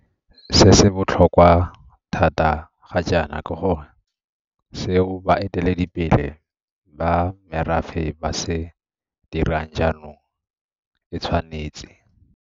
Se se botlhokwa thata ga jaana ke gore seo baeteledi pele ba merafe ba se dirang jaanong e tshwanetse.